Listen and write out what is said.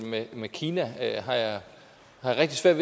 med kina har jeg rigtig svært